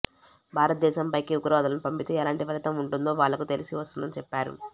భారతదేశంపైకి ఉగ్రవాదులను పంపితే ఎలాంటి ఫలితం ఉంటుందో వాళ్లకు తెలిసి వస్తుందని చెప్పారు